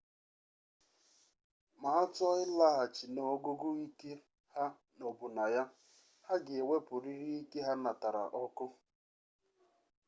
ma ha chọ ịlaghachi n'ogugo ike ha nọbụ na ya ha ga ewepụrịrị ike ha natara ọkụ